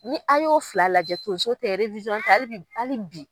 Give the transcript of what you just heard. Ni a y'o fila lajɛ tonso tɛ hali bɛ bali bi.